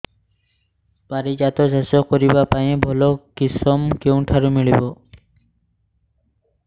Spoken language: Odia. ପାରିଜାତ ଚାଷ କରିବା ପାଇଁ ଭଲ କିଶମ କେଉଁଠାରୁ ମିଳିବ